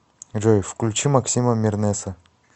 джой включи маскима мернеса